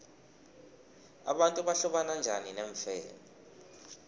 abantu bahlobana bunjani neemfene